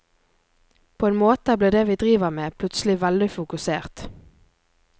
På en måte blir det vi driver med, plutselig veldig fokusert.